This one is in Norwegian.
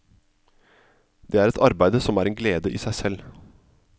Det er et arbeide som er en glede i seg selv.